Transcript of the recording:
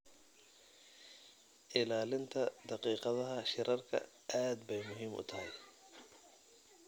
Ilaalinta daqiiqadaha shirarka aad bay muhiim u tahay.